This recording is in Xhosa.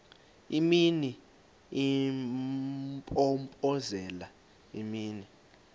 imini impompozelela imini